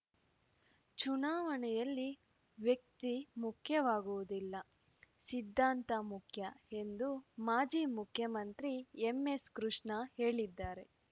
ಚುನಾವಣೆಯಲ್ಲಿ ವ್ಯಕ್ತಿ ಮುಖ್ಯವಾಗುವುದಿಲ್ಲ ಸಿದ್ಧಾಂತ ಮುಖ್ಯ ಎಂದು ಮಾಜಿ ಮುಖ್ಯಮಂತ್ರಿ ಎಸ್ಎಂ ಕೃಷ್ಣ ಹೇಳಿದ್ದಾರೆ